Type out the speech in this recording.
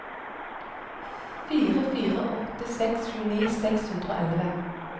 fire fire åtte seks tjueni seks hundre og elleve